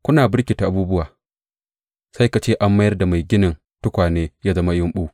Kuna birkitar abubuwa, sai ka ce an mayar da mai ginin tukwane ya zama yumɓu!